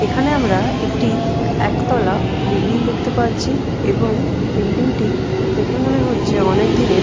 এখানে আমরা একটি একতলা বিল্ডিং দেখতে পাচ্ছি এবং বিল্ডিং -টি দেখে মনে হচ্ছে অনেক দিনের।